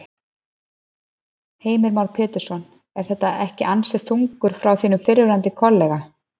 Heimir Már Pétursson: Er þetta ekki ansi þungur frá þínum fyrrverandi kollega?